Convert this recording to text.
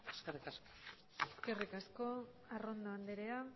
eskerrik asko eskerrik asko arrondo andrea